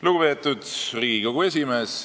Lugupeetud Riigikogu esimees!